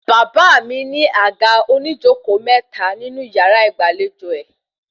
Bàbá mi ní àga oníjókòó mẹ́ta ní yàrá ìgbàlejò rẹ̀